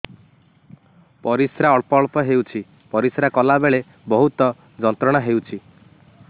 ପରିଶ୍ରା ଅଳ୍ପ ଅଳ୍ପ ହେଉଛି ପରିଶ୍ରା କଲା ବେଳେ ବହୁତ ଯନ୍ତ୍ରଣା ହେଉଛି